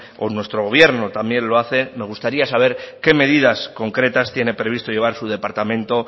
o nuestro gobierno también lo hace me gustaría saber qué medidas concretas tiene previsto llevar su departamento